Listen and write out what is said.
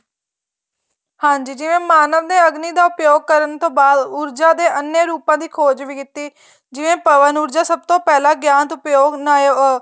ਹਾਂਜੀ ਜਿਵੇ ਮਾਨਵ ਨੇ ਅਗਨੀਂ ਦਾ ਪ੍ਰਯੋਗ ਕਰਨ ਤੋ ਬਾਅਦ ਊਰਜਾ ਦੇ ਅੰਨੇ ਰੂਪਾਂ ਦੀ ਖ਼ੋਜ ਵੀ ਕੀਤੀ ਜਿਵੇਂ ਪਵਨ ਊਰਜਾ ਸਭ ਤੋਂ ਪਹਿਲਾ ਗਿਆਨਤ ਉਪਯੋਗ ਬਣਾਏ ਹੋ